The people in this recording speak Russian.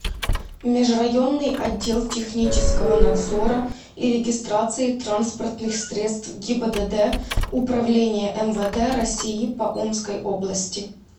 межрайонный отдел технического надзора и регистрации транспортных средств гибдд управления мвд россии по омской области